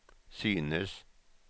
synes